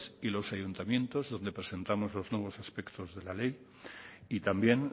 y los ayuntamientos donde presentamos los nuevos aspectos de la ley y también